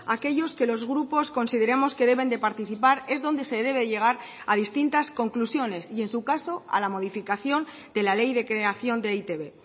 aquellos que los grupos consideramos que deben de participar es donde se debe llegar a distintas conclusiones y en su caso a la modificación de la ley de creación de e i te be